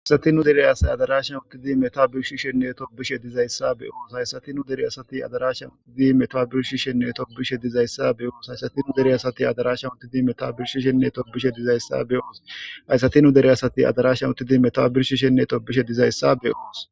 Hayssati nu dere asati metowa be7ishenne birshishenne tobbishe dizaysa be7os. Haysati nu dere asay metota birshishenne tobbishe dizayssa be7oos .Haysati nu dere asati metowa be7ishenne birshishe nne tobbishe dizaysa be7oos. Haysati nu dere asati metowa be7ishenne birshishenne tobbishe dizaysa be7oos.